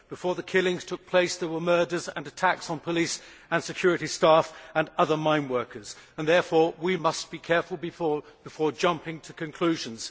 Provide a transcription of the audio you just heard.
Before the killings took place there were murders and attacks on police and security staff and other mine workers and therefore we must be careful before jumping to conclusions.